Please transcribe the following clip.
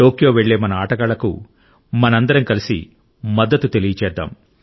టోక్యోకు వెళ్లే మన ఆటగాళ్లకు మనందరం కలిసి మద్దతు తెలియజేద్దాం